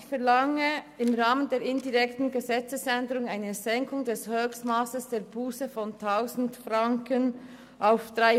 Ich verlange im Rahmen der indirekten Gesetzesänderung eine Senkung des Höchstmasses der Busse von 1000 Franken auf 300 Franken.